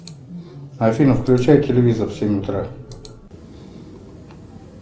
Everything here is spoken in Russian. афина включай телевизор в семь утра